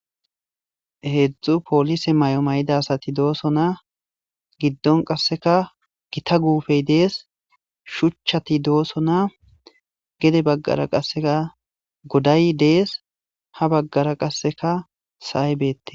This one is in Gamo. Heedzdzu poolise may'o may'ida asati doosona giddon qasseka gita guufey dees shuchchati doosona gede baggara qasseka goday dees ha baggara qasseka saybeette.